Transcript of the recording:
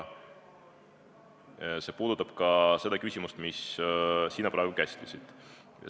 See puudutab ka seda küsimust, mida sina praegu käsitlesid.